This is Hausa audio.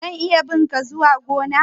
zan iya bi' nka zuwa gona?